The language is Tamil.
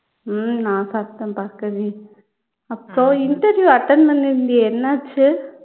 உம் நான் சாப்பிட்டேன் பார்கவி அப்போ interview attend பண்ணியிருந்தியே என்னாச்சு